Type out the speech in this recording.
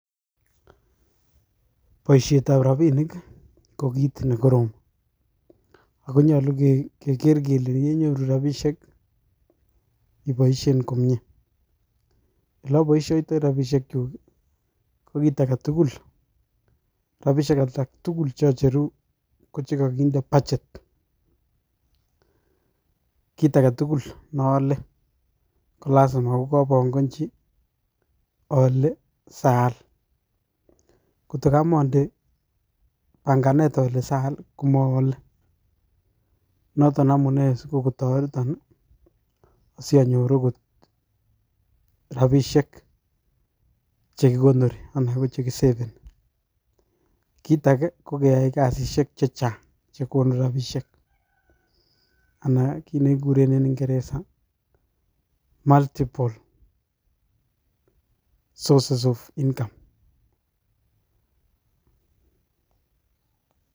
Boishet ab robinik kokit nekorom ako nyolu Keker kele yenyoru rabishek kii iboishen komie ole oboishoitoi rabishek chuk kii ko kit agetukul, rabishek alak tukul cheocheruu ko chekokinde budget kit aketukul ne ole kolasima kobongochi ole Saal koto komonde pankanet ole Saal komoole noton amunee si kokotoreton nii so your okot rabishek chekikonori anan ko chekisavani. Kit age ko keyai karishek che Chang che konu rabishek anan kit nekikuren en ingeresa multiple sources of income.